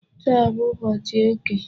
Taa bụ ụbọchị eke.